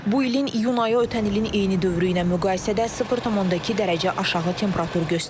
Bu ilin iyun ayı ötən ilin eyni dövrü ilə müqayisədə 0,2 dərəcə aşağı temperatur göstərib.